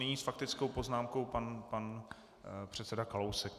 Nyní s faktickou poznámkou pan předseda Kalousek.